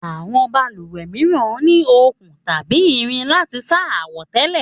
Àwọn balùwẹ̀ mìíràn ní okùn tàbí irin láti sá àwọ̀tẹ́lẹ̀